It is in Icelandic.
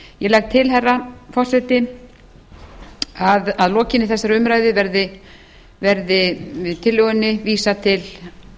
ég legg til herra forseti að að lokinni þessari umræðu verði tillögunni vísað til